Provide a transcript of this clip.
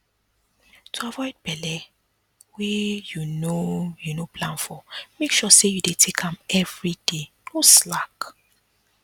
to avoid belle wey you no you no plan for make sure say you dey take am everyday no slack